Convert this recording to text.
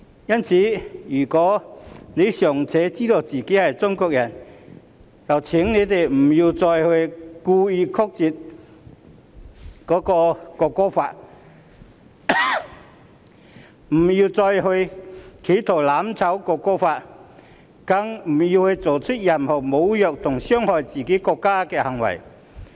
因此，若他們尚且知道自己是中國人，請別再故意扭曲《條例草案》、別再企圖"攬炒"《條例草案》，更別再作出任何侮辱和傷害自己國家的行為。